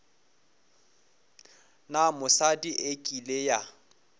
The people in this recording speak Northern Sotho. na mosadi e kile ya